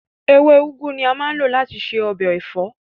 Ewé úgú ni a máa ń lò láti ṣe ọbẹ̀ ẹ̀fọ́